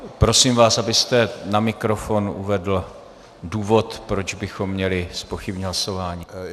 Prosím vás, abyste na mikrofon uvedl důvod, proč bychom měli zpochybnit hlasování.